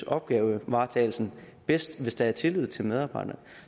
opgavevaretagelsen bedst hvis der er tillid til medarbejderne